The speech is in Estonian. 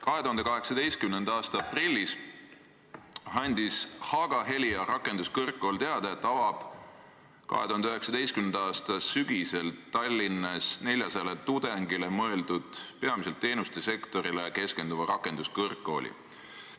2018. aasta aprillis andis Haaga-Helia rakenduskõrgkool teada, et avab 2019. aasta sügisel Tallinnas 400 tudengile mõeldud peamiselt teenustesektorile keskenduva rakenduskõrgkooli.